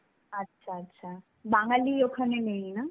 আচ্ছা, আচ্ছা. বাঙালি ওখানে নেই না?